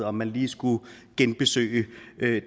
om man lige skulle genbesøge